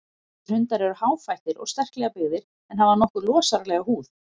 Þessir hundar eru háfættir og sterklega byggðir en hafa nokkuð losaralega húð.